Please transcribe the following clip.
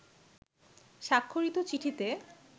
স্বাক্ষরিত চিঠিতে